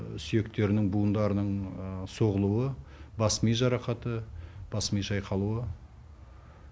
сүйектерінің буындарының соғылуы бас ми жарақаты бас ми шайқалуы